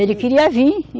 Ele queria vir.